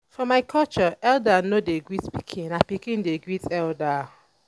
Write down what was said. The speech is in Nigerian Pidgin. for my culture elda no dey greet pikin na pikin dey great elda.